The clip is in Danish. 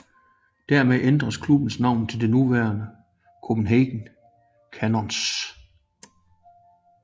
Dermed ændredes klubben navn til det nuværende Copenhagen Cannons